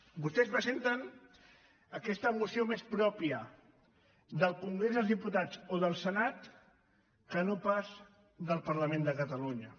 vostès presenten aquesta moció més pròpia del congrés dels diputats o del senat que no pas del parlament de catalunya